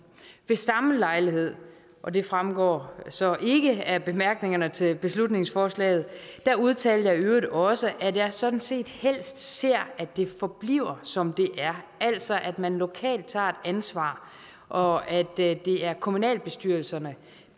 ved samme lejlighed og det fremgår så ikke af bemærkningerne til beslutningsforslaget udtalte jeg i øvrigt også at jeg sådan set helst ser at det forbliver som det er altså at man lokalt tager et ansvar og at det er kommunalbestyrelserne